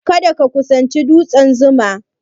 Kada ka kusanci dutsen 'Zuma'!